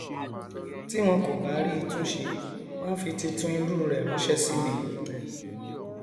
tí wọn kò bá rí i tún ṣe wọn á fi tuntun irú rẹ ránṣẹ sí mi